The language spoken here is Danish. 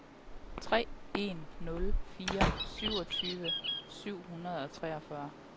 tre en nul fire toogtyve syv hundrede og treogfyrre